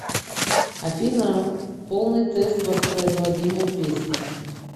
афина полный тест воспроизводимой песни